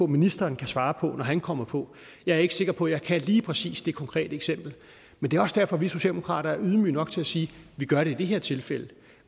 ministeren kan svare på når han kommer på jeg er ikke sikker på at jeg kan lige præcis det konkrete eksempel men det er også derfor at vi socialdemokrater er ydmyge nok til at sige vi gør det i det her tilfælde